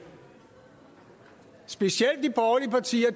specielt